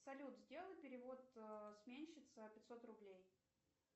салют сделай перевод сменщица пятьсот рублей